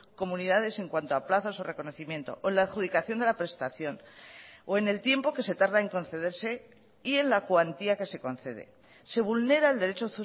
comunidades en cuanto a plazos o reconocimiento o la adjudicación de la prestación o en el tiempo que se tarda en concederse y en la cuantía que se concede se vulnera el derecho